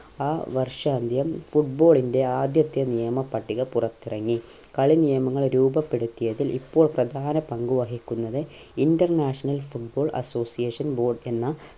ആ വർഷാന്ത്യം football ൻ്റെ ആദ്യത്തെ നിയമ പട്ടിക പുറത്തിറങ്ങി കളി നിയമങ്ങൾ രൂപപ്പെടുത്തിയതിൽ ഇപ്പോൾ പ്രധാന പങ്ക് വഹിക്കുന്നത് international football association board എന്ന